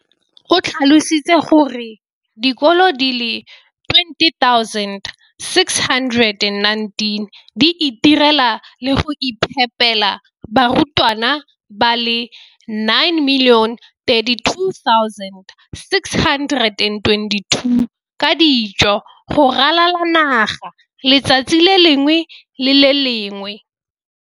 O tlhalositse gore dikolo di le 20 619 di itirela le go iphepela barutwana ba le 9 032 622 ka dijo go ralala naga letsatsi le lengwe le le lengwe.